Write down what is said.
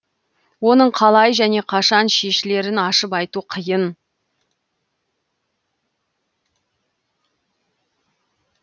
оның қалай және қашан шешілерін ашып айту қиын